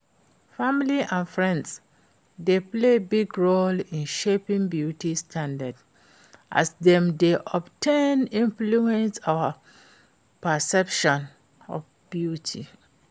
Family and friends dey play big role in shaping beauty standards, as dem dey of ten influence our perceptions of beauty.